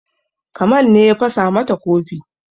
Kamal ne ya fasa mata kofi